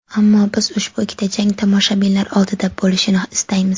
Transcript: Ammo biz ushbu ikkita jang tomoshabinlar oldida bo‘lishini istaymiz.